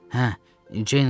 Hə, Ceyn Gallager.